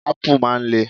Ápù máa ń le.